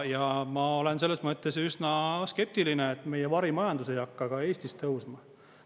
Ja ma olen selles mõttes üsna skeptiline, et meie varimajandus ei hakka Eestis tõusma.